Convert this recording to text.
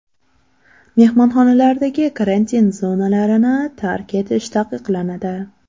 Mehmonxonalardagi karantin zonalarin i tark etish taqiqlanadi .